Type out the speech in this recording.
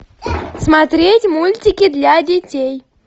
смотреть мультики для детей